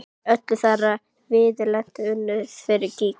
Var öll þeirra viðleitni unnin fyrir gýg?